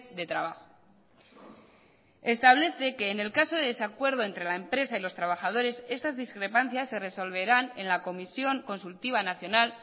de trabajo establece que en el caso de desacuerdo entre la empresa y los trabajadores estas discrepancias se resolverán en la comisión consultiva nacional